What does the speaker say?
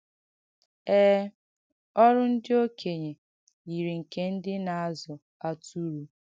Ee, ọ̀rụ̀ ndị òkènyē yiri nke ndị na-àzụ̀ àtùrù.